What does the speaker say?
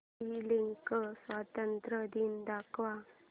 श्रीलंका स्वातंत्र्य दिन दाखव